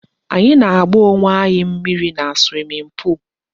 Anyị na-agba owe anyị mmírí na swimming pool